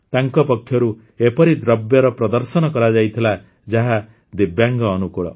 ତାଙ୍କ ପକ୍ଷରୁ ଏପରି ଦ୍ରବ୍ୟର ପ୍ରଦର୍ଶନ କରାଯାଇଥିଲା ଯାହା ଦିବ୍ୟାଙ୍ଗ ଅନୁକୂଳ